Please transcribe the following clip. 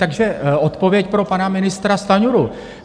Takže odpověď pro pana ministra Stanjuru.